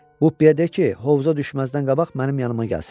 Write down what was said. Bupiyə de ki, hovuza düşməzdən qabaq mənim yanıma gəlsin.